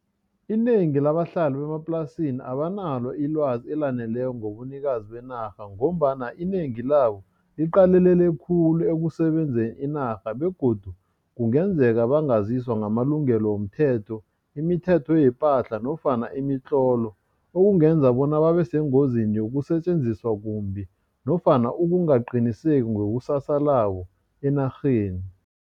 Inengi labahlali bemaplasini abanalo ilwazi elaneleko ngobunikazi benarha, ngombana inengi labo liqalele khulu ekusebenzeni inarha, begodu kungenzeka bangaziswa ngamalungelo womthetho, imithetho yepahla nofana imitlolo. Okungenza bona babesengozini yokusetjenziswa kumbi, nofana ukungaqiniseki ngekusasalabo enarheni.